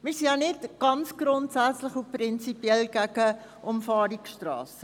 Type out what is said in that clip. Wir sind nicht grundsätzlich und prinzipiell gegen Umfahrungsstrassen.